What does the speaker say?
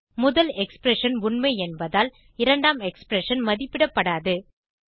முதல் எக்ஸ்பிரஷன் உண்மை என்பதால் இரண்டாம் எக்ஸ்பிரஷன் மதிப்பிடப்படாது